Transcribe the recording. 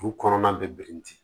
Furu kɔnɔna bɛ birinti